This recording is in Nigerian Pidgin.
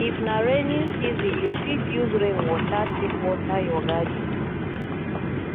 if na rainy season you fit use rain water take water your garden